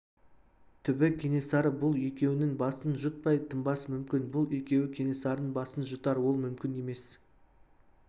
түбі кенесары бұл екеуінің басын жұтпай тынбас мүмкін бұл екеуі кенесарының басын жұтар ол мүмкін емес